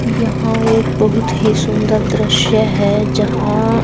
यहां एक बहुत ही सुंदर दृश्य है जहां--